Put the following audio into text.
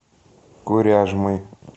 коряжмой